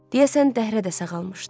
Deyəsən dəhrə də sağalmışdı.